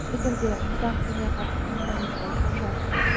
шетелде қазақ тіліне қатысты сұраныс ол қаншалықты